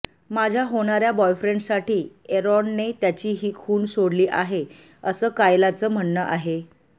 माझ्य़ा होणाऱ्या बॉयफ्रेंडसाठी एरॉनने त्याची ही खूण सोडली आहे असं कायलाचं म्हणणं आहे